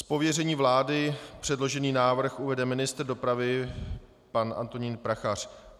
Z pověření vlády předložený návrh uvede ministr dopravy pan Antonín Prachař.